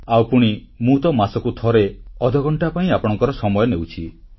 ଆଉ ପୁଣି ମୁଁ ତ ମାସକୁ ଥରେ ଅଧ ଘଣ୍ଟା ଆପଣଙ୍କ ସମୟ ନେଉଛି